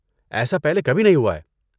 ایسا پہلے کبھی نہیں ہوا ہے۔